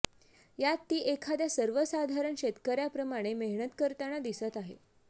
यात ती एखाद्या सर्वसाधारण शेतकऱ्याप्रमाणे मेहनत करताना दिसत आहे